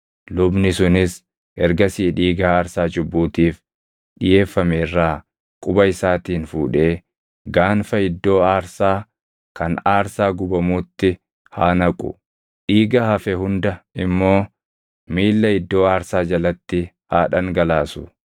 Lubni sunis ergasii dhiiga aarsaa cubbuutiif dhiʼeeffame irraa quba isaatiin fuudhee gaanfa iddoo aarsaa kan aarsaa gubamuutti haa naqu; dhiiga hafe hunda immoo miilla iddoo aarsaa jalatti haa dhangalaasu.